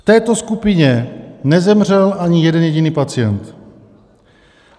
V této skupině nezemřel ani jeden jediný pacient.